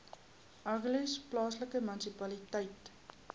agulhas plaaslike munisipaliteit